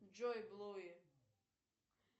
джой блуи